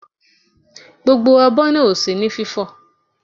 Gbogbo abọ́ náà ò sí ní fífò.